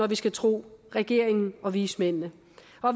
vi skal tro regeringen og vismændene